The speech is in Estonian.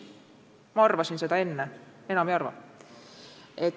Ma arvasin seda enne, enam ei arva.